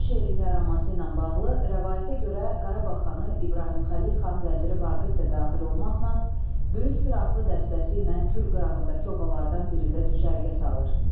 Bu şeirin yaranması ilə bağlı rəvayətə görə Qarabağ xanı İbrahim Xəlil xan vəziri Vaqif də daxil olmaqla böyük pir adlı dəstəsi ilə Kür qırağındakı obalardan birində düşərgə salır.